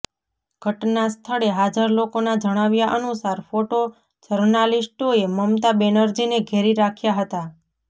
ઘટનાસ્થળે હાજર લોકોના જણાવ્યા અનુસાર ફોટો જર્નાલિસ્ટોએ મમતા બેનર્જીને ઘેરી રાખ્યાં હતા